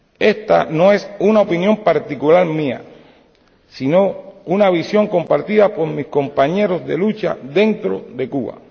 Esta no es una opinión particular mía, sino una visión compartida por mis compañeros de lucha dentro de Cuba.